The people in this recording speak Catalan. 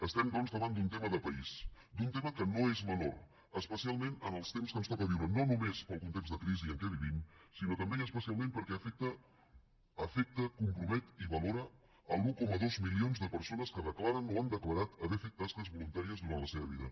estem doncs davant d’un tema de país d’un tema que no és menor especialment en els temps que ens toca viure no només pel context de crisi en què vivim sinó també i especialment perquè afecta compromet i valora els un coma dos milions de persones que declaren o han declarat haver fet tasques voluntàries durant la seva vida